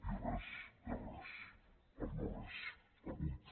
i res és res el no·res el buit